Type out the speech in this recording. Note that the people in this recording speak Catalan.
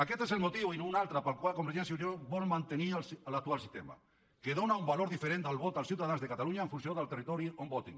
aquest és el motiu i no un altre pel qual convergència i unió vol mantenir l’actual sistema que dóna un valor diferent al vot dels ciutadans de catalunya en funció del territori on votin